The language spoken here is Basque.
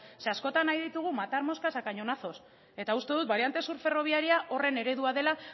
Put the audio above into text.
zeren askotan nahi ditugu matar moscas a cañonazos eta uste dut bariante sur ferroviaria horren eredua dela